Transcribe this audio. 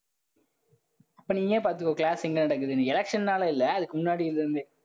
அப்ப நீயே பாத்துக்கோ class எங்க நடக்குதுனு election னால இல்லை. அதுக்கு முன்னாடில இருந்தே